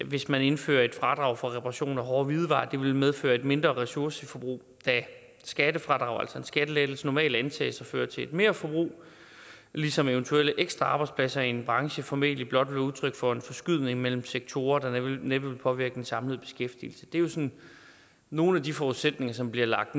hvis man indfører et fradrag for reparation af hårde hvidevarer at det vil medføre et mindre ressourceforbrug da skattefradrag altså en skattelettelse normalt antages at føre til et merforbrug ligesom eventuelle ekstra arbejdspladser i en branche formentlig blot vil være udtryk for en forskydning mellem sektorer der næppe vil påvirke den samlede beskæftigelse det er jo sådan nogle af de forudsætninger som bliver lagt